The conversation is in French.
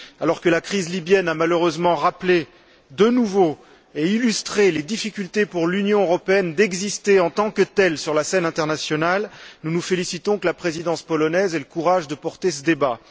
Alors que la crise libyenne a, malheureusement, rappelé une nouvelle fois et illustré les difficultés pour l'Union européenne d'exister en tant que telle, sur la scène internationale, nous nous félicitons que la présidence polonaise ait le courage de porter ce débat.